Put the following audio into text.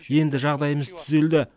енді жағдаймыз түзелді